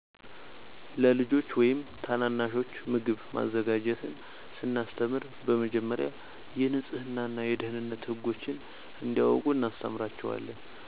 ለልጆች ወይም ታናናሾች ምግብ ማዘጋጀትን ስናስተምር በመጀመሪያ የንጽህና እና የደህንነት ህጎችን እንዲያውቁ እናስተምራቸዋለን።